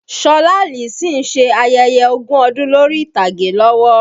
Ṣọlá Allyson ń ṣe ayẹyẹ ogún ọdún lórí ìtàgé lọ́wọ́